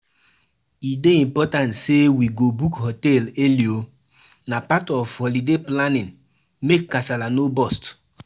E dey important say we go book hotel early oo. Na part of holiday planning make kasala no burst